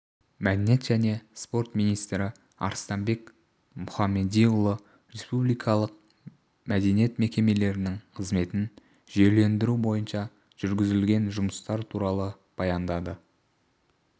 мәдениет және спорт министрі арыстанбек мұхамедиұлы республикалық мәдениет мекемелерінің қызметін жүйелендіру бойынша жүргізілген жұмыстар туралы баяндады